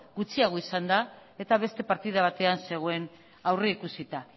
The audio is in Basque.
gutxiago izan da eta beste partida batean zegoen aurrikusita